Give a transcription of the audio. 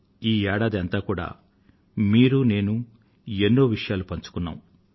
ఈ ఏడాది అంతా కూడా మీరూ నేను ఎన్నో విషయాలను పంచుకున్నాం